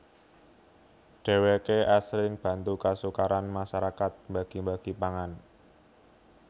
Dheweké asring bantu kasukaran masarakat mbagi mbagi pangan